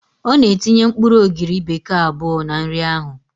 Ọ na-etinye mkpụrụ ogiri bekee abụọ na nri ahụ